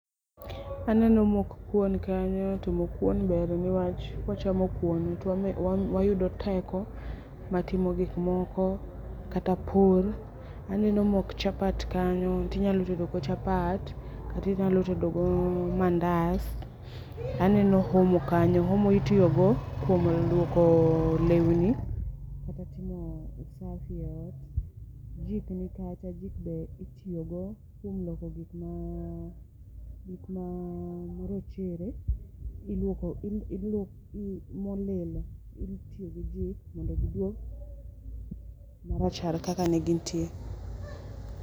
Aneno mok kuon kanyo to mok kuon ber niwach kwachamo kuon to [mh] wayudo teko mar timo gik moko, kata pur, aneno mok chapat kanyo tinyalo tedogo chapat katinyalo tedogo mandas, taneno omo kanyo, omo itiyogo kuom luoko lewni kata timo usafi eot, jik nikacha, jik be itiyogo kuom luoko gik [mh] morochere molil iluoko gi jik mondo giduog maachar kaka ne gintie.